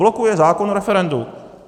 Blokuje zákon o referendu.